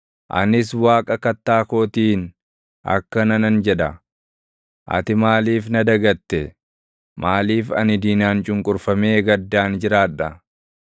Anis Waaqa Kattaa kootiin akkana nan jedha; “Ati maaliif na dagatte? Maaliif ani diinaan cunqurfamee gaddaan jiraadha?”